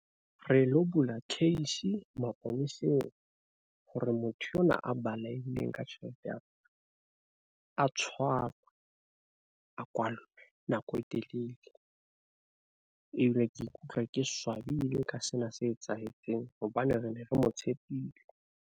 Re lo bula case maponeseng hore motho enwa a balehile ka tjhelete yaka a tshwarwe a kwalwe nako e telele ebile ke ikutlwa ke swabile ka sena se etsahetseng hobane re ne re mo tshepile.